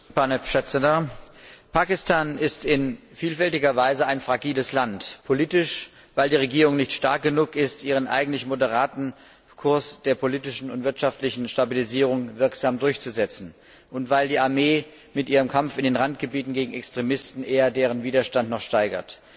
Herr Präsident! Pakistan ist in vielfältiger Weise ein fragiles Land. Politisch fragil, weil die Regierung nicht stark genug ist, ihren eigentlich moderaten Kurs der politischen und wirtschaftlichen Stabilisierung wirksam durchzusetzen und weil die Armee mit ihrem Kampf in den Randgebieten gegen Extremisten eher deren Widerstand noch steigert.